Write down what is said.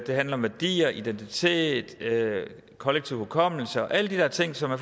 det handler om værdier identitet kollektiv hukommelse og alle de der ting som er